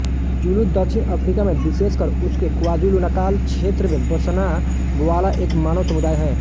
Zulu दक्षिण Africa में विशेषकर उसके क्वाज़ुलुनाताल क्षेत्र में बसना वाला एक मानव समुदाय है